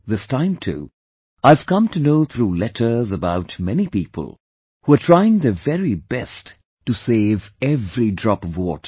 This time too I have come to know through letters about many people who are trying their very best to save every drop of water